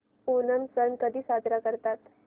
ओणम सण कधी साजरा करतात